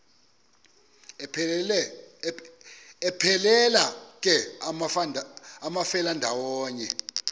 aphelela ke amafelandawonye